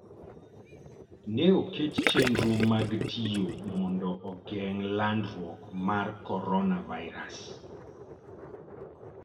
Ne oket chenro mag tiyo mondo ogeng' landruok mar coronavirus.